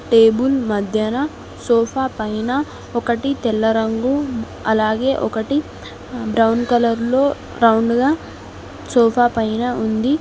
Table మధ్యన sofa పైన ఒకటి తెల్ల రంగు అలాగే ఒకటి బ్రౌన్ కలర్ లో రౌండ్ గా సోఫా పైన ఉంది.